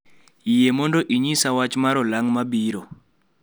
Yie mondo inyisa wach mar olang' mabiro